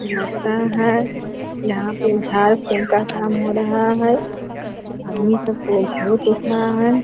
है यहाँ पे झाड़ फूक का काम हो रहा है आदमी सब को बहुत है।